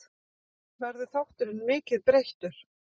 Verður þátturinn mikið breyttur?